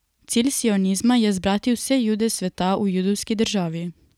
Cilj sionizma je zbrati vse Jude sveta v judovski državi.